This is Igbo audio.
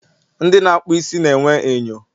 ndị na akpụ isi na enwe enyo